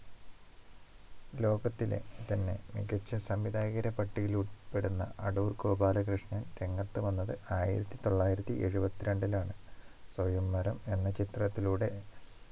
ലോകത്തിലെ തന്നെ മികച്ച സംവിധായകരെ പട്ടികയിൽ ഉൾപ്പെടുന്ന അടൂർ ഗോപാലകൃഷ്ണൻ രംഗത്ത് വന്നത് ആയിരത്തി തൊള്ളായിരത്തി എഴുപത്തി രണ്ടിൽ ആണ് സ്വയംവരം എന്ന ചിത്രത്തിലൂടെ